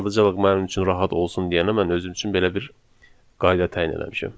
Sadəcə olaraq mənim üçün rahat olsun deyənə mən özüm üçün belə bir qayda təyin eləmişəm.